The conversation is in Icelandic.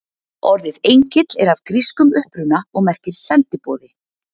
Orðið engill er af grískum uppruna og merkir sendiboði.